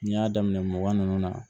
N'i y'a daminɛ mugan ninnu na